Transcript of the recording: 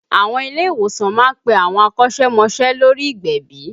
Àwọn ilé ìwòsàn má ń pe àwọn akọ́sẹ́mọsẹ́ lórí ìgbẹ̀bì